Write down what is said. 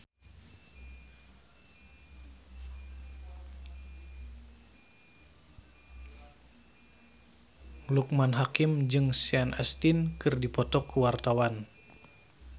Loekman Hakim jeung Sean Astin keur dipoto ku wartawan